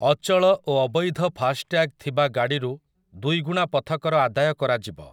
ଅଚଳ ଓ ଅବୈଧ ଫାଷ୍ଟ୍ୟାଗ ଥିବା ଗାଡ଼ିରୁ ଦୁଇଗୁଣା ପଥକର ଆଦାୟ କରାଯିବ ।